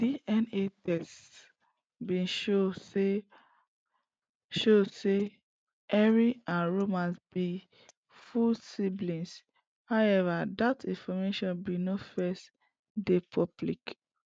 dna tests bin show say show say harry and roman be full siblings however dat information bin no first dey public